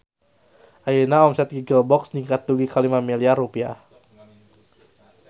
Ayeuna omset Giggle Box ningkat dugi ka 5 miliar rupiah